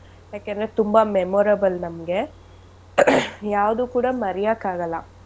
ಯಾಕೆಂದ್ರೆ ತುಂಬಾ memorable ನಮ್ಗೆ caugh ಯಾವ್ದು ಕೂಡ ಮರಿಯಕ್ ಆಗಲ್ಲ.